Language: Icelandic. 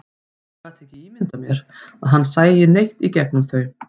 Ég gat ekki ímyndað mér að hann sæi neitt í gegnum þau.